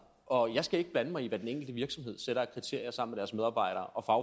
og jeg skal ikke blande mig i hvad den enkelte virksomhed sætter af kriterier sammen med deres medarbejdere og